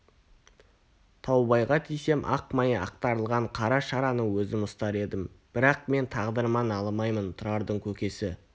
таубайға тисем ақ майы ақтарылған қара шараны өзім ұстар едім бірақ мен тағдырыма налымаймын тұрардың көкесі